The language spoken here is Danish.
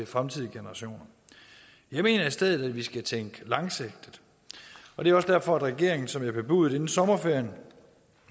fremtidige generationer jeg mener i stedet at vi skal tænke langsigtet det er også derfor regeringen som jeg bebudede inden sommerferien